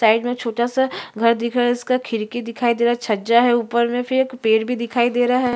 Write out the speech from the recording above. Side मै छोटा-सा घर दिख रहा है जिसका खिड़की दिखाई दे रहा है छज्जा है ऊपर मै फिर एक पेड़ भी दिखाई दे रहा है।